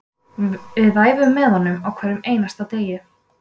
Við æfum með honum á hverjum einasta degi